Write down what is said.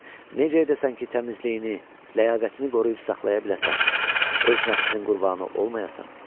Necə edəsən ki, təmizliyini, ləyaqətini qoruyub saxlaya biləsən, öz nəfsinin qurbanı olmayasan?